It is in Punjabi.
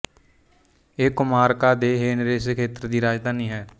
ਇਹ ਕੋਮਾਰਕਾ ਦੇ ਹੇਨਰੇਸ ਖੇਤਰ ਦੀ ਰਾਜਧਾਨੀ ਹੈ